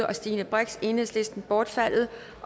og stine brix bortfaldet